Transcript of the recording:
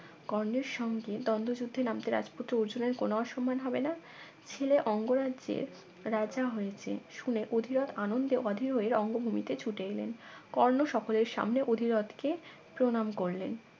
কর্ণের সঙ্গে দ্বন্দ্ব যুদ্ধে নামতে রাজপুত্র অর্জনের কোন অসম্মান হবে না ছেলে অঙ্গরাজ্যের রাজা হয়েছে শুনে অধীরথ আনন্দে অধীর হয়ে রঙ্গভূমিতে ছুটে এলে কর্ণ সকলের সামনে অধীরত কে প্রণাম করলেন